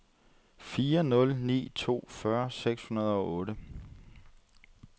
fire nul ni to fyrre seks hundrede og otte